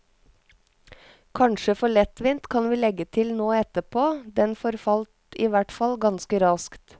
Kanskje for lettvint, kan vi legge til nå etterpå, den forfalt i hvertfall ganske raskt.